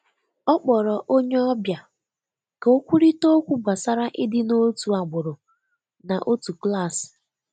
Ọ kpọrọ onye ọbịa ka ọ kwurịta okwu gbasara ịdị n'otu agbụrụ na otu klas.